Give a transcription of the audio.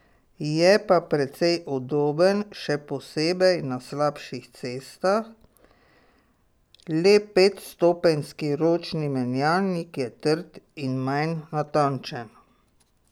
Je pa precej udoben, še posebej na slabših cestah, le petstopenjski ročni menjalnik je trd in manj natančen.